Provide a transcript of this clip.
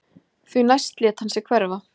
Því næst lét hann sig hverfa